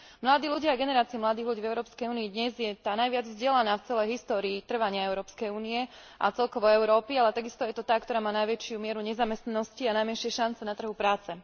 Mladí ľudia a generácia mladých ľudí v EÚ dnes je tá najviac vzdelaná v celej histórii trvania Európskej únie a celkovo Európy, ale takisto je to tá, ktorá má najväčšiu mieru nezamestnanosti a najmenšie šance na trhu práce.